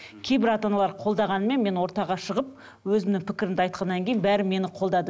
кейбір ата аналар қолдағанмен мен ортаға шығып өзімнің пікірімді айтқаннан кейін бәрі мені қолдады